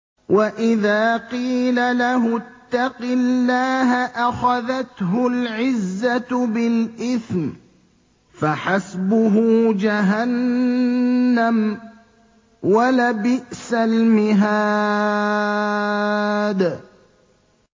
وَإِذَا قِيلَ لَهُ اتَّقِ اللَّهَ أَخَذَتْهُ الْعِزَّةُ بِالْإِثْمِ ۚ فَحَسْبُهُ جَهَنَّمُ ۚ وَلَبِئْسَ الْمِهَادُ